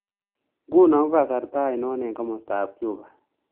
Nguno ko kasarta ainon eng' komostap cuba